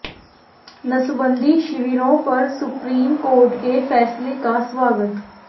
नसबंदी शिविरों पर सुप्रीम कोर्ट के फैसले का स्वागत